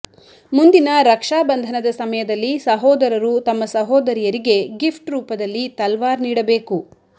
ಮುಂದಿನ ರಕ್ಷಾ ಬಂಧನದ ಸಮಯದಲ್ಲಿ ಸಹೋದರರು ತಮ್ಮ ಸಹೋದರಿಯರಿಗೆ ಗಿಫ್ಟ್ ರೂಪದಲ್ಲಿ ತಲ್ವಾರ್ ನೀಡಿಬೇಕು